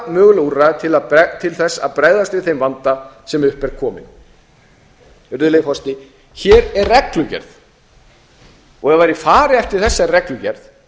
mögulegra úrræða til þess að bregðast við þeim vanda sem upp er kominn virðulegi forseti hér er reglugerð ef væri farið eftir þessari reglugerð